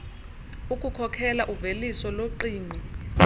ukukhokhela uveliso loqingqo